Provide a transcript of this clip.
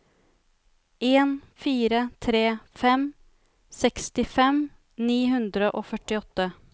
en fire tre fem sekstifem ni hundre og førtiåtte